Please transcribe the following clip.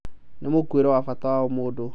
Nĩ mwĩkuĩre wa bata wa ũmũndũ."